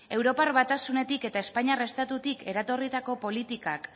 europar batasunetik eta espainiar estatutik eratorritako politikak